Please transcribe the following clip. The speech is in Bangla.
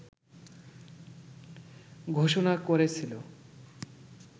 ঘোষণা করেছিল